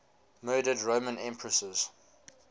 murdered roman empresses